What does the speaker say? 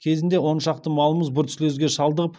кезінде он шақты малымыз бруцеллезге шалдығып